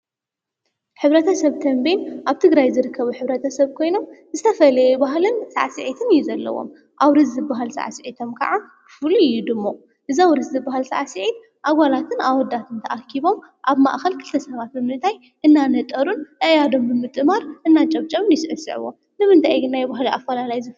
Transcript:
ሕብረተ ሰብ ቴምቤን ኣብ ትግራይ ዝርከቡ ሕብረተ ሰብ ኮይኖም ዝተፈላለየ ባህልን ሳዕስዕትን እዩ ዘለዎም፡፡ ኣውርስ ዝብሃል ሰዓስዒቶም ከዓ ፍሉይ እዩ ድሙቕ፡፡ እዚ ኣውርስ ዝብሃል ሰዕስዒት ኣጓላትን ኣወዳት ተኣኪቦም ኣብ ማእኸል ክልተ ሰባት ብምንታይ እናነጠሩን ኣኣዳዎም ብምጥማር እናጨብጨቡ ይስዕስዑ፡፡ ንምንታይ እዩ ግን ናይ ባህሊ ኣፊላላይ ዝህሊ?